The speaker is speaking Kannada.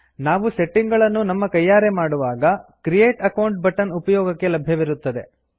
ನಾವು ಸೆಟ್ಟಿಂಗ್ ಗಳನ್ನು ನಮ್ಮ ಕೈಯಾರೆ ಮಾಡುವಾಗ ಕ್ರಿಯೇಟ್ ಅಕೌಂಟ್ ಬಟನ್ ಉಪಯೋಗಕ್ಕೆ ಲಭ್ಯವಿರುತ್ತದೆ